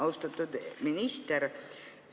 Austatud minister!